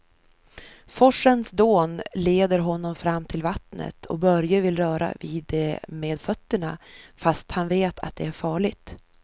Forsens dån leder honom fram till vattnet och Börje vill röra vid det med fötterna, fast han vet att det är farligt.